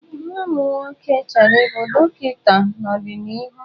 Nwa m nwoke chọrọ ịbụ dọkịta n'ọdịnihu.